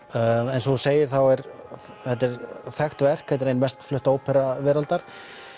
eins og þú segir er þetta þekkt verk þetta er ein mest flutta ópera veraldar